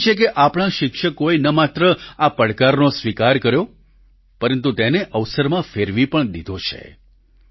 મને ખુશી છે કે આપણા શિક્ષકોએ ન માત્ર આ પડકારનો સ્વિકાર કર્યો પરંતુ તેને અવસરમાં ફેરવી પણ દીધો છે